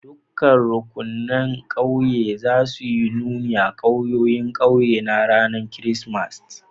Dukan rukunin a ƙauye na za su yi nuni a'kawayen ƙauyen ranan Kiristimeti.